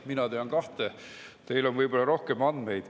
Mina tean kahte, teil on võib-olla rohkem andmeid.